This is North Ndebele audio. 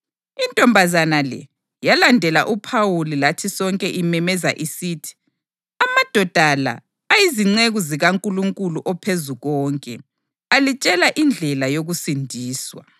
Intombazana le yalandela uPhawuli lathi sonke imemeza isithi, “Amadoda la ayizinceku zikaNkulunkulu oPhezukonke, alitshela indlela yokusindiswa.”